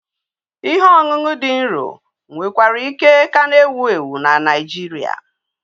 Ihe ọṅụṅụ dị nro nwekwara ike ka na-ewu ewu na Naijiria.